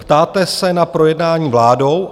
Ptáte se na projednání vládou?